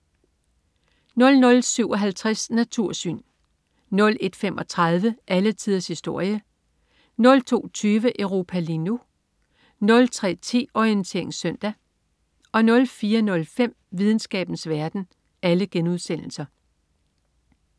00.57 Natursyn* 01.35 Alle tiders historie* 02.20 Europa lige nu* 03.10 Orientering Søndag* 04.05 Videnskabens verden*